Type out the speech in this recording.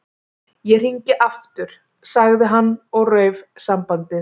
Ég hringi aftur- sagði hann og rauf sambandið.